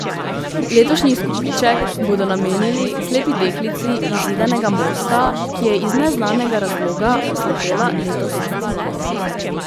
Letošnji izkupiček bodo namenili slepi deklici iz Zidanega Mosta, ki je iz neznanega razloga oslepela letos spomladi.